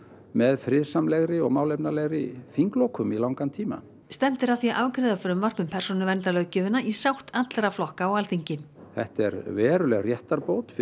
með friðsamlegri og málefnalegri þinglokum í langan tíma stefnt er að því að afgreiða frumvarp um persónuverndarlöggjöfina í sátt allra flokka á Alþingi þetta er veruleg réttarbót fyrir